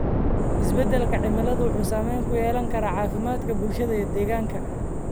Isbedelka cimiladu wuxuu saameyn ku yeelan karaa caafimaadka bulshada iyo deegaanka.